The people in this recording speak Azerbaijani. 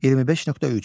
25.3.